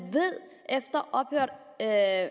at